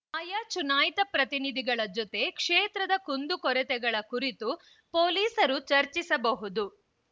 ಆಯಾ ಚುನಾಯಿತ ಪ್ರತಿನಿಧಿಗಳ ಜೊತೆ ಕ್ಷೇತ್ರದ ಕುಂದು ಕೊರತೆಗಳ ಕುರಿತು ಪೊಲೀಸರು ಚರ್ಚಿಸಬಹುದು